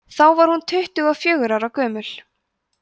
þá var hún tuttugu og fjögurra ára gömul